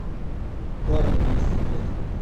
у каждого есть секрет